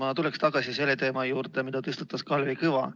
Ma tuleks tagasi selle teema juurde, mille tõstatas Kalvi Kõva.